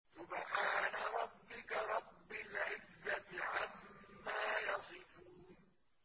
سُبْحَانَ رَبِّكَ رَبِّ الْعِزَّةِ عَمَّا يَصِفُونَ